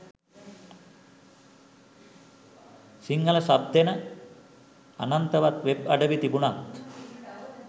Sinhala sub දෙන අනන්තවත් web අඩවි තිබුනත්